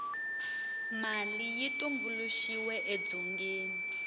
mali yi tumbuluxiwe edzongeni